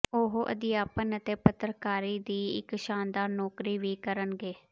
ਉਹ ਅਧਿਆਪਨ ਅਤੇ ਪੱਤਰਕਾਰੀ ਦੀ ਇੱਕ ਸ਼ਾਨਦਾਰ ਨੌਕਰੀ ਵੀ ਕਰਨਗੇ